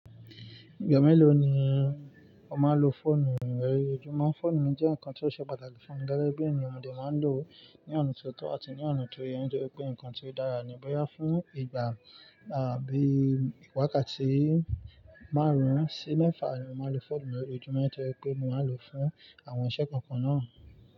Ìgbà mélòó ni o máa ń lo fóònù rẹ lójoojumo? Fóònù mi jẹ́ nǹkan tí ó ṣe pàtàkì fún mi gege bi eniyan mọ dé máa ń lò ó ní ọ̀na tó tọ́ àti ní ọ̀na tó yẹ, nitóri pé nǹkan tí ó dára ní bò ya fún ìgbà à bí ìwákàtí márùn-ún sí mẹ́fà ni mo máa n lò fóònù lójojumo, tó je pé mo máa n lò ó fún àwọn iṣẹ́ kọ̀ọ̀kan náà.